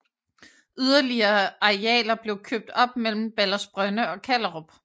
Yderligere arealer blev købt op mellem Baldersbrønde og Kallerup